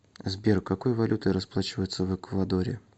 сбер какой валютой расплачиваются в эквадоре